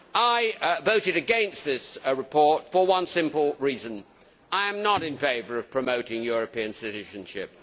I voted against this report for one simple reason, which is that I am not in favour of promoting European citizenship.